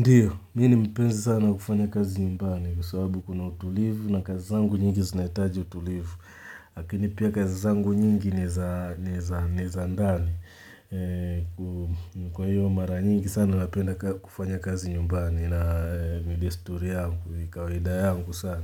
Ndiyo, mi ni mpenzi sana wa kufanya kazi nyumbani kwa sababu kuna utulivu, na kazi zangu nyingi zinahitaji utulivu. Lakini pia kazi zangu nyingi ni za ndani. Kwa hiyo mara nyingi sana napenda kufanya kazi nyumbani. Na ni desturi yangu, ni kawaida yangu sana.